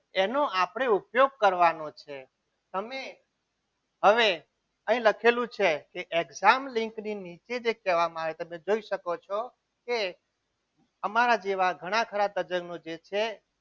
એનો આપણે ઉપયોગ કરવાનો છે તમે હવે અહીં લખેલું છે exam ની લીંક ની નીચે જે કહેવામાં આવે છે તમે જોઈ શકો છો કે અમારા જેવા ઘણા ખરા તજજ્ઞ જે છે.